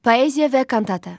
Poeziya və kantata.